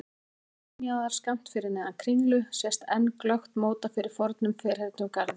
Niðri við túnjaðar, skammt fyrir neðan Kringlu sést enn glöggt móta fyrir fornum ferhyrndum garði.